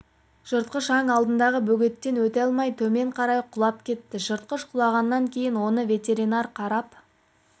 жыртқыш аң алдындағы бөгеттен өте алмай төмен қарай құлап кетті жыртқыш құлағаннан кейін оны ветеринар қарап